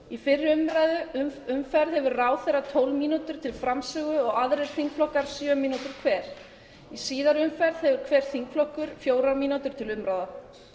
í fyrri umferð hefur ráðherra tólf mínútur til framsögu og aðrir þingflokkar sjö mínútur hver í síðari umræðu hefur hver þingflokkur fjórar mínútur til umráða